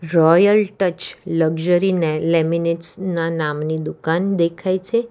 Royal touch luxury ને લેમિનેટ્સના નામની દુકાન દેખાય છે.